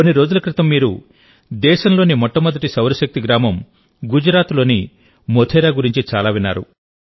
కొన్ని రోజుల క్రితంమీరు దేశంలోని మొట్టమొదటి సౌరశక్తి గ్రామం గుజరాత్లోని మోధేరా గురించి చాలా విన్నారు